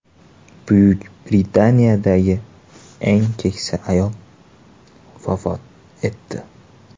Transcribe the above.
Buyuk Britaniyadagi eng keksa ayol vafot etdi.